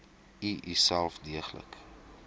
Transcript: u uself deeglik